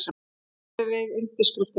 Hann sagði við undirskriftina: